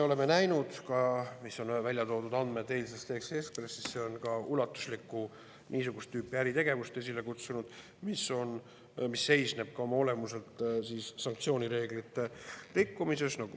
See on esile kutsunud ulatusliku niisugust tüüpi äritegevuse, mis seisneb oma olemuselt sanktsioonireeglite rikkumises.